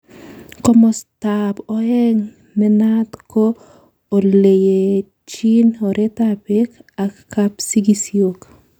Komostab oeng' nenayat ko oletuyechin oretab beek ak kapsigisio.